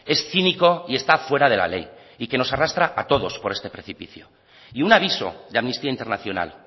es cínico y está fuera de la ley y que nos arrastra a todos por este precipicio y un aviso de amnistía internacional